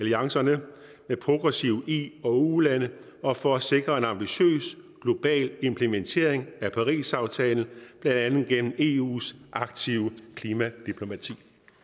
alliancerne med progressive i og ulande og for at sikre en ambitiøs global implementering af parisaftalen blandt andet gennem eus aktive klimadiplomati